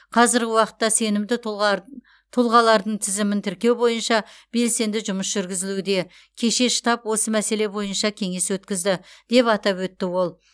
қазіргі уақытта сенімді тұлғар тұлғалардың тізімін тіркеу бойынша белсенді жұмыс жүргізілуде кеше штаб осы мәселе бойынша кеңес өткізді деп атап өтті ол